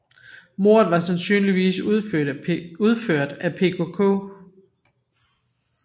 Mordet var sandsynligvis udført af PKK